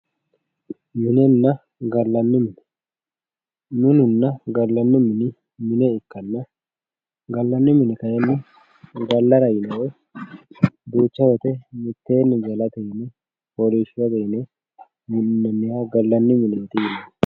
minenna gallanni mine minine gallanna mine mine ikkanna gallanni mini kayinni gallara yine duucha woyte mitteenni gallara yine foolliishshirate yine minnoonniha gallanni mine yinanni